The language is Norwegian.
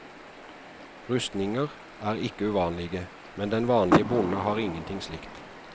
Rustninger er ikke uvanlige, men den vanlige bonde har ingenting slikt.